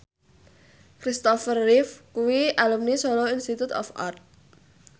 Kristopher Reeve kuwi alumni Solo Institute of Art